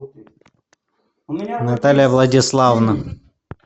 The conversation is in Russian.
наталья владиславовна